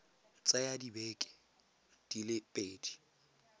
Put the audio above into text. tsaya dibeke di le pedi